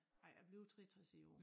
Ej jeg bliver 63 i år